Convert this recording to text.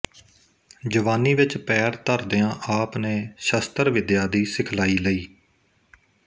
ਜਵਾਨੀ ਵਿੱਚ ਪੈਰ ਧਰਦਿਆਂ ਆਪ ਨੇ ਸ਼ਸਤਰ ਵਿੱਦਿਆ ਦੀ ਸਿਖਲਾਈ ਲਈ